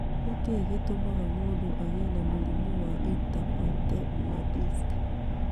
Nĩ kĩĩ gĩtũmaga mũndũ agĩe na mũrimũ wa intervertebral disc?